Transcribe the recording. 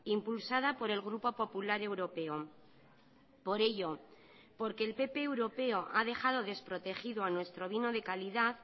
impulsada por el grupo popular europeo por ello porque el pp europeo ha dejado desprotegido a nuestro vino de calidad